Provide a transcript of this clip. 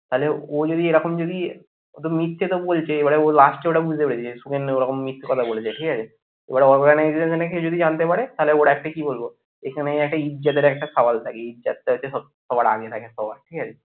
তাহলে ও যদি এরকম যদি ওতো মিথ্যে তো বলছে এবারে ও last এ ওটা বুঝতে পেরেছে সুখেন্দু ওরকম মিথ্যা কথা বলেছে ঠিক আছে এবার organization কেউ যদি জানতে পারে তাহলে ওর একটা কি এখানেই একটা ইজ্জতের একটা সাওয়াল থাকে ইজ্জতটা আছে সবার আগে থাকে সবার ঠিক আছে?